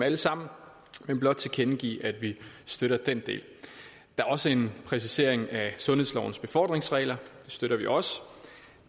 alle sammen men blot tilkendegive at vi støtter den del der er også en præcisering af sundhedslovens befordringsregler det støtter vi også